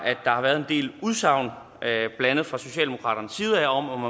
været en del udsagn blandt andet fra socialdemokraternes side om at